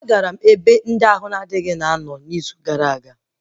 Agara m sik bey n'izu gara aga